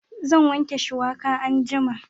Zan wanke shuwaka anjima